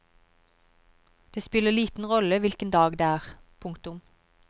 Det spiller liten rolle hvilken dag det er. punktum